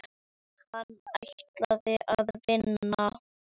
Hann ætlaði að vinna.